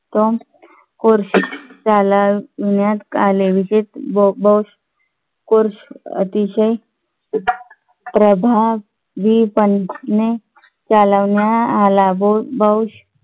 course चालविण्यात आले विशेष bosscourse अतिशय प्रभावीपणे चालविण्यात आला